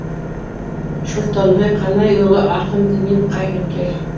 шортанбай қанайұлы ақын діни қайраткер